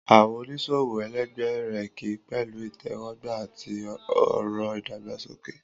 Àwọn oníṣòwò ẹlẹgbẹ́ rẹ̀ kí i pẹ̀lú ìtẹ́wọ́gbà àti ọ̀rọ̀ ìdàgbàsókè.